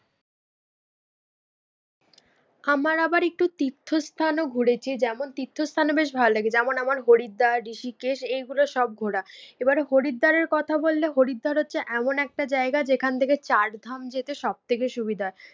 আমার আবার একটু তীর্থ স্থানও ঘুরেছি যেমন তীর্থ স্থান ও বেশ ভালো লাগে। যেমন আমার হরিদ্বার, ঋষিকেশ এইগুলো সব ঘোরা। এবার হরিদ্বারের কথা বললে হরিদ্বার হচ্ছে এমন একটা জায়গা যেখান থেকে চার ধাম যেতে সব থেকে সুবিধা হয়।